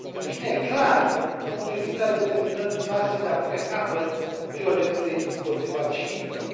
În fine, clari, în privința determinării noastre de a pune capăt violenței împotriva civililor.